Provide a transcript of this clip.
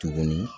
Tuguni